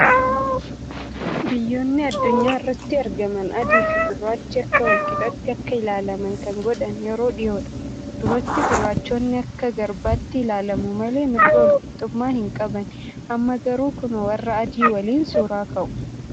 Biyyoonni addunyaa irratti argaman adii fi gurraachi akka wal qixaatti akka ilaalaman kan godhan yeroo dhiyoodha,. Duratti gurraachonni akka garbaatti ilaalamu malee mirga wal qixxummaa hin qabani. Amma garuu kunoo warra adii waliin suuraa ka'u.